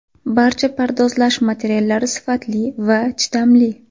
Barcha pardozlash materiallari sifatli va chidamli.